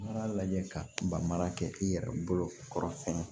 N b'a lajɛ ka mara kɛ i yɛrɛ bolo kɔrɔfɛn